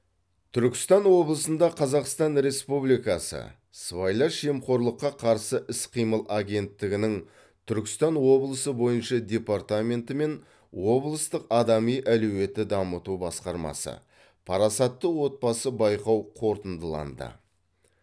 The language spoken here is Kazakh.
түркістан облысында қазақстан республикасы сыбайлас жемқорлыққа қарсы іс қимыл агенттігінің түркістан облысы бойынша департаменті мен облыстық адами әлеуетті дамыту басқармасы парасатты отбасы байқау қорытындыланды